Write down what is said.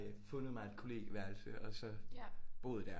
Fundet mig et kollegieværelse og så boet der